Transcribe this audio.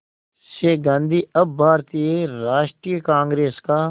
से गांधी अब भारतीय राष्ट्रीय कांग्रेस का